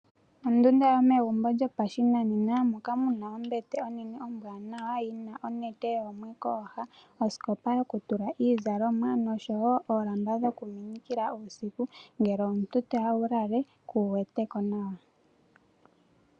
Ondunda yomegumbo lyopashinanena moka muna ombete onene ombwaanawa yi na onete yoomwe kooha, osikopa yokutula iizalomwa noshowo oolamba dhokuminikila uusiku ngele omuntu toya wu lale kuu wete ko nawa.